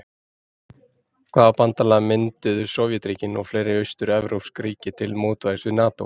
Hvaða bandalag mynduðu sovétríkin og fleiri austur-evrópsk ríki til mótvægis við NATÓ?